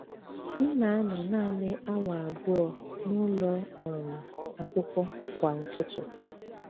M na - anọ nanị awa abụọ n’ụlọ um akwụkwọ kwa ụtụtụ.